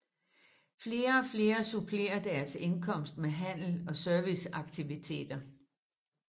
Flere og flere supplerer deres indkomst med handel og serviceaktiviteter